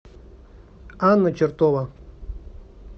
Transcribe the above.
анна чертова